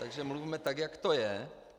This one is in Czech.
Takže mluvme tak, jak to je.